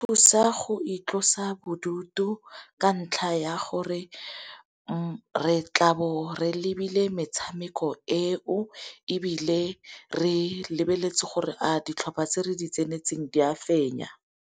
Thusa go itlhalosa bodutu ka ntlha ya gore re tlabo re lebile metshameko e o, ebile re lebeletse gore a ditlhopha tse re di tsenetseng di a fenya.